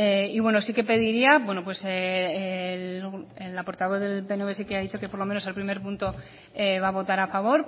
y bueno sí que pediría la portavoz del pnv sí que ha dicho que por lo menos el primer punto va a votar a favor